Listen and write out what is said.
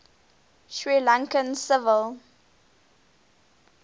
sri lankan civil